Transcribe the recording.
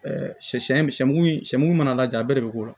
sɛ sɛ sɛ sɛmugu in sɛmɛni mana lajɛ a bɛɛ de bɛ k'o la